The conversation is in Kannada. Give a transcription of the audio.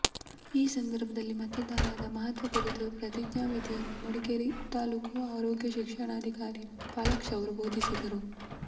ಈ ಸಂದರ್ಭದಲ್ಲಿ ಮತದಾನದ ಮಹತ್ವ ಕುರಿತು ಪ್ರತಿಜ್ಞಾ ವಿಧಿಯನ್ನು ಮಡಿಕೇರಿ ತಾಲ್ಲೂಕು ಆರೋಗ್ಯ ಶಿಕ್ಷಣಾಧಿಕಾರಿ ಪಾಲಾಕ್ಷ ಅವರು ಬೋಧಿಸಿದರು